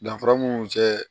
Danfara mun tɛ